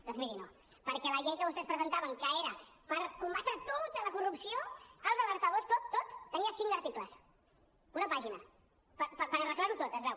doncs miri no perquè la llei que vostès presentaven que era per combatre tota la corrupció els alertadors tot tot tenia cinc articles una pàgina per arreglar ho tot es veu